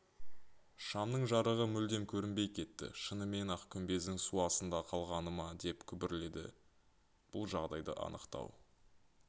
шамның жарығы мүлдем көрінбей кетті шынымен-ақ күмбездің су астында қалғаны ма деп күбірледі бұл жағдайды анықтау